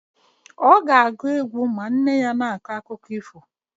Ọ ga-agụ egwu ma nne ya na-akọ akụkọ ifo.